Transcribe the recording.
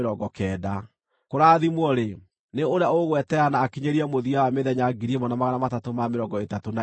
Kũrathimwo-rĩ, nĩ ũrĩa ũgweterera na akinyĩrie mũthia wa mĩthenya 1,335.